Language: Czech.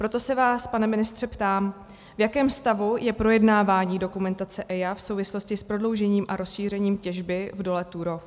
Proto se vás, pane ministře, ptám, v jakém stavu je projednávání dokumentace EIA v souvislosti s prodloužením a rozšířením těžby v dole Turów.